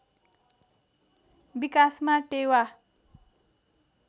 विकासमा टेवा